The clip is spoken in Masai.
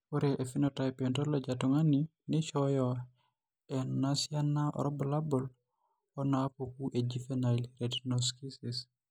Ore ephenotype ontology etung'ani neishooyo enasiana oorbulabul onaapuku eJuvenile retinoschisis.